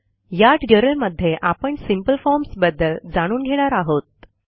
या ट्युटोरियलमध्ये आपण सिंपल फॉर्म्स बद्दल जाणून घेणार आहोत